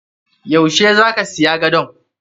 Yau she zaka siya gadon?